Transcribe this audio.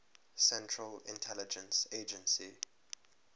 central intelligence agency